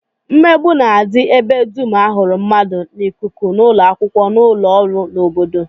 Mmegbu na-adị ebe dum a hụrụ mmadụ, n'ikuku, n'ụlọakwụkwọ, n'ụlọọrụ, n'obodo